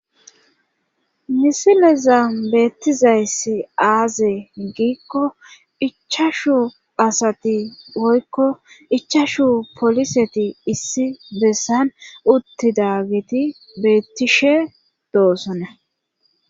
misileza beettizayssi aaze giikko ichashu asati oykko ichashu poliseti issi bessan uttida geti beettishe doosonna